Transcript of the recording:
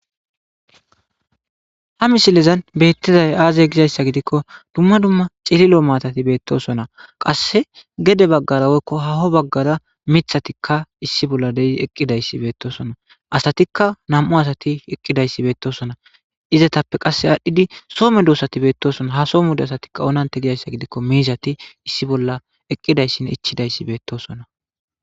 Ha misilezan betizaysi aze gizaysa gidiko duma duma cililo maatati betosona qase gede bagara woyko haho bagara mithati issi bolla eqidaysati beetosona asatika nam'u asati eqidaysi betosona izetappe qase adhidi so medosati betosona ha so medosati oonante giko miizati eqidaysinne ichidays betosona